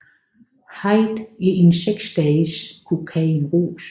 Hyde i en seks dages kokainrus